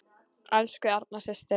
Elsku Erna systir.